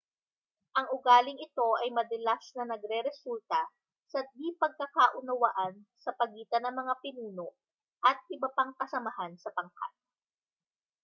ang ugaling ito ay madalas na nagreresulta sa di-pagkakaunawaan sa pagitan ng mga pinuno at iba pang kasamahan sa pangkat